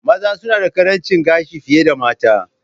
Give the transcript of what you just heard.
Maza suna da ƙarancin gashi fiye da mata.